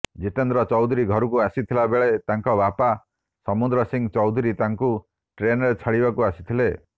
ଜିତେନ୍ଦ୍ର ଚୌଧୁରୀ ଘରକୁ ଆସିଥିଲା ବେଳେ ତାଙ୍କ ବାପା ସମୁଦ୍ର ସିଂ ଚୌଧୁରୀ ତାଙ୍କୁ ଟ୍ରେନ୍ରେ ଛାଡ଼ିବାକୁ ଆସିଥିଲେ